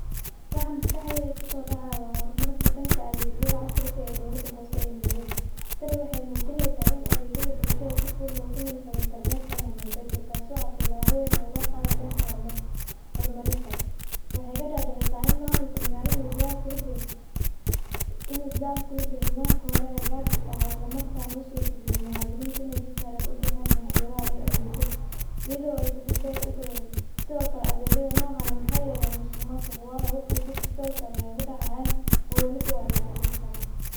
Waxa maskaxdeyda kuso dhacayo waa hormarka dhanka adegyada casriga ah ee dowladda hoose ee Nairobi . Tani waxey mujineysaa in adegyada bulshada si fudud logu heli karo intarnetka ama mobelka taasoo ah tillabo weyn oo loo qadayo dhanka hormarinta. Waxey ka dhadhicineysaa in mamulka magaalada uu dadaal kula jiro ,inuu dadaal kula jiro nidaamki hiore ee gaabiska ahaa ,isla markaana u sura galiyo muwadininta iney si sahlan u bixiyaan canshuraha iyo adeegyada ,iyadoo ay safaf dheer u gali. Sidokale adegyada nocaan eh waxey yareyaan masumasuqa wayo wax walbo si toos eh ayey ugu dhacayaan oo walibo waa la radini karaa .